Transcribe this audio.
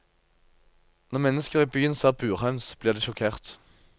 Når mennesker i byen ser burhøns, blir de sjokkert.